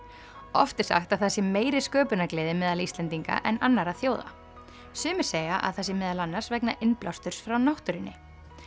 oft er sagt að það sé meiri sköpunargleði meðal Íslendinga en annarra þjóða sumir segja að það sé meðal annars vegna innblásturs frá náttúrunni